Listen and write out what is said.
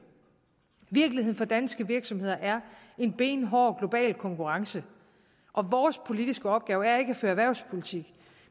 virkeligheden for danske virksomheder er en benhård global konkurrence og vores politiske opgave er ikke at føre erhvervspolitik